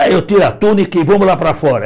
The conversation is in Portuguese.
Aí eu tiro a túnica e vamos lá para fora.